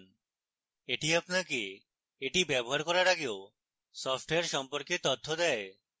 এটি আপনাকে এটি ব্যবহার করার আগেও সফ্টওয়্যার সম্পর্কে তথ্য দেয়